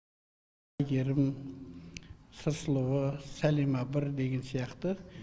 айгерім сыр сұлуы сәлима бір деген сияқты